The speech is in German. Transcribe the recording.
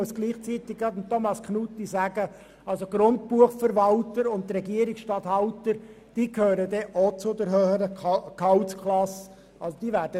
Gleichzeitig muss ich Thomas Knutti darauf hinweisen, dass die Grundbuchverwalter und Regierungsstatthalter auch einer höheren Gehaltsklasse angehören.